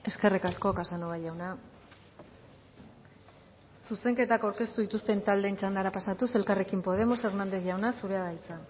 eskerrik asko casanova jauna zuzenketak aurkeztu dituzten taldeen txandara pasatuz elkarrekin podemos hernández jauna zurea da hitza